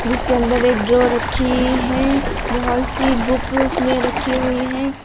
इसके अंदर एक ड्रॉवर रखी है बहुत सी बुक उसमें रखी हुई है।